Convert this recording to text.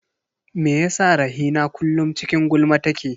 Me yasa Rahina kullum cikin gulma take?